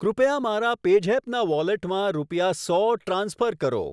કૃપયા મારા પેઝેપ ના વોલેટમાં રૂપિયા સો ટ્રાન્સફર કરો.